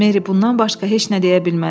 Meri bundan başqa heç nə deyə bilmədi.